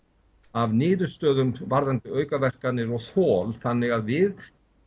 af niðurstöðum varðandi aukaverkanir og þol þannig að við